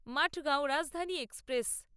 Mathgaon Rajdhani express